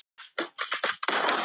Nema þá bókmenntalega.